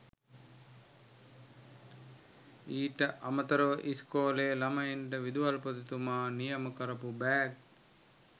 ඊට අමතරව ඉස්‌කෝලෙ ළමයින්ට විදුහල්පතිතුමා නියම කරපු බෑග්